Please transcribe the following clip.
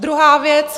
Druhá věc.